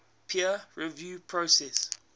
peer review process